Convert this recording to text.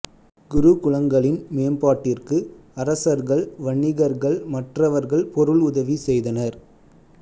குருகுலங்களின் மேம்பாட்டிற்கு அரசர்கள் வணிகர்கள் மற்றவர்கள் பொருள் உதவி செய்தனர்